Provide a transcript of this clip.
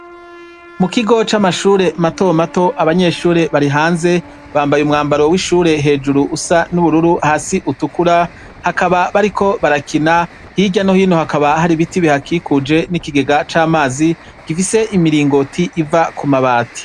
Mu kigo c'amashure matomato, abanyeshure bari hanze. Bambaye umwambaro w'ishure hejuru usa n'ubururu, hasi utukura, bakaba bariko barakina. Hirya no hino hakaba hari ibiti bihakikuje n'ikigega c'amazi, gifise imiringoti iva ku mabati.